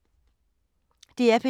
DR P2